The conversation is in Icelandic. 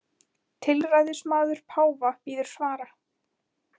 Tilræðismaður páfa bíður svara